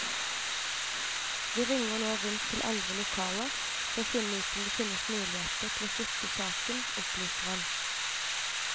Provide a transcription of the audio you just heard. Vi ringer nå rundt til andre lokaler for å finne ut om det finnes muligheter til å flytte saken, opplyser han.